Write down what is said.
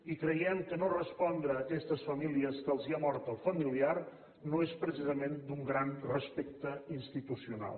i creiem que no respondre a aquestes famílies a qui se’ls ha mort el familiar no és precisament d’un gran respecte institucional